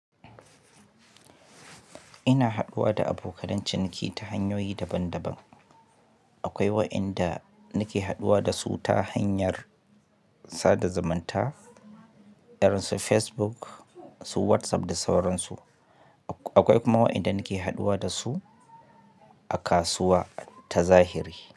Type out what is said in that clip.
Ina haɗuwa da abokanan ciniki ta hanyoyi daban-daban. Akwai wa'yanda nake haɗuwa dasu ta hanyar sada zumunta irin su Facebook, su WhatsApp da sauransu. Akwai kuma wa'yanda nake haɗuwa dasu a kasuwa tazahiri.